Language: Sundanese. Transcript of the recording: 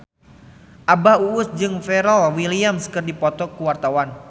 Abah Us Us jeung Pharrell Williams keur dipoto ku wartawan